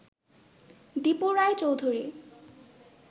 Dipu Roy Chowdhury